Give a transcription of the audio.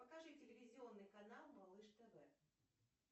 покажи телевизионный канал малыш тв